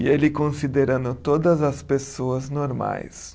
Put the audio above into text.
E ele considerando todas as pessoas normais.